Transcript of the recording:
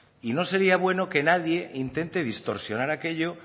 y no sería bueno que nadie intente distorsionar aquello